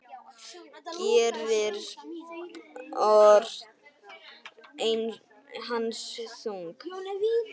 Gerir spor hans þung.